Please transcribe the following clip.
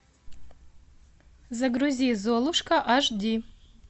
загрузи золушка аш ди